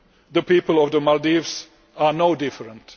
The people of the Maldives are no different.